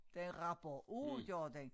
Det rapper af gør den